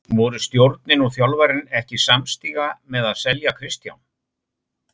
Voru stjórnin og þjálfarinn ekki samstíga með að selja Kristján?